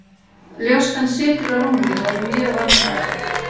Ljóskan situr á rúmi og er mjög vandræðaleg.